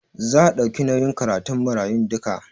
Za a ɗauki nauyin karatun marayun duka?